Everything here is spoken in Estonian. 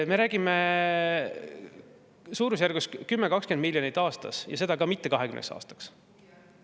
Me räägime suurusjärgus 10–20 miljonist aastas ja seda ka mitte 20 aastaks.